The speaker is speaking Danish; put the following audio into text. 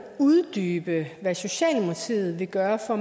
uddybe hvad socialdemokratiet vil gøre for